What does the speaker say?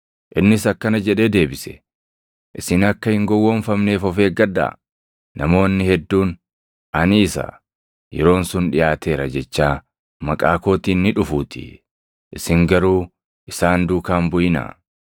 Innis akkana jedhee deebise; “Isin akka hin gowwoomfamneef of eeggadha. Namoonni hedduun, ‘Ani isa; yeroon sun dhiʼaateera’ jechaa maqaa kootiin ni dhufuutii. Isin garuu isaan duukaa hin buʼinaa.